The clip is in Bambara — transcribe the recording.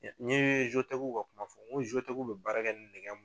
N'i ye ka kuma fɔ n ko bɛ baara kɛ ni nɛgɛ